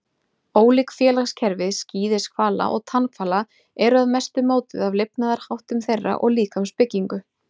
Ólík félagskerfi skíðishvala og tannhvala eru að mestu mótuð af lifnaðarháttum þeirra og líkamsbyggingu.